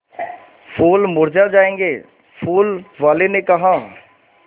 फूल मुरझा जायेंगे फूल वाली ने कहा